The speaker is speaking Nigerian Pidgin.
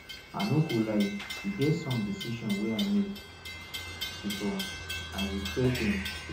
i no go lie e get some decisions wey i make before i regret dem